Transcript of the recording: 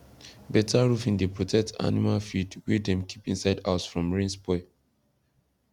better roofing dey protect animal feed wey dem keep inside house from rain spoil